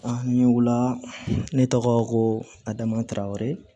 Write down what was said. n ɲe wula ne tɔgɔ ko amataraw